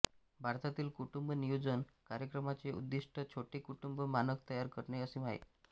भारतातील कुटुंब नियोजन कार्यक्रमाचे उद्दिष्ट छोटे कुटुंब मानक तयार करणे असे आहे